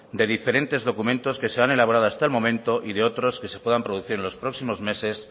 de diferentes documentos que se han elaborado hasta el momento y de otros que se puedan producir en los próximos meses